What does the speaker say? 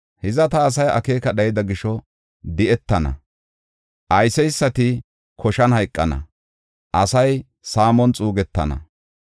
Hiza ta asay akeeka dhayida gisho, di7etana; ayseysati koshan hayqana; asay saamon xuugetana.